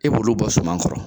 E b'olu bɔ suman kɔrɔ